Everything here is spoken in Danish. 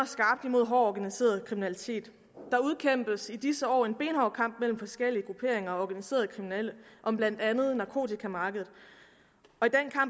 skarpt imod hård organiseret kriminalitet der udkæmpes i disse år en benhård kamp mellem forskellige grupperinger og organiserede kriminelle om blandt andet narkotikamarkedet